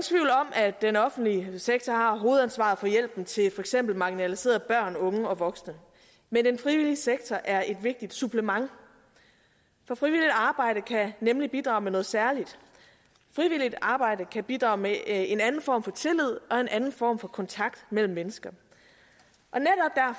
at den offentlige sektor har hovedansvaret for hjælpen til for eksempel marginaliserede børn unge og voksne men den frivillige sektor er et vigtigt supplement for frivilligt arbejde kan nemlig bidrage med noget særligt frivilligt arbejde kan bidrage med en anden form for tillid og en anden form for kontakt mellem mennesker